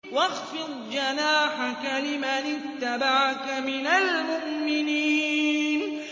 وَاخْفِضْ جَنَاحَكَ لِمَنِ اتَّبَعَكَ مِنَ الْمُؤْمِنِينَ